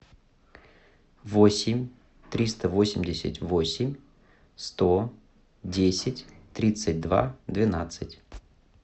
восемь триста восемьдесят восемь сто десять тридцать два двенадцать